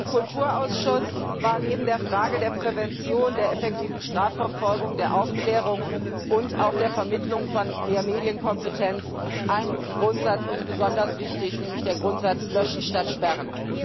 Im Kulturausschuss war uns neben den Fragen der Prävention, der effektiven Strafverfolgung, der Aufklärung und auch der Vermittlung von mehr Medienkompetenz ein Grundsatz besonders wichtig, nämlich der Grundsatz löschen statt sperren.